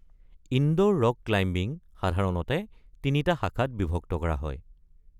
Indoor rock climbing সাধাৰণতে তিনিটা শাখাত বিভক্ত কৰা হয়।